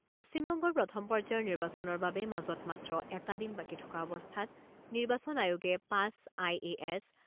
পশ্চিমবংগৰ প্ৰথম পৰ্যায়ৰ নিৰ্বাচনৰ বাবে মাজত মাত্ৰ এটা দিন বাকী থকা অৱস্থাত নিৰ্বাচন আয়োগে পাঁচ আই এ এছ